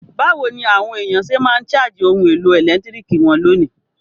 Bàwoni àwon èyàn se ma n charge oun èlò ẹ̀lẹ́ntiriki won lónìí?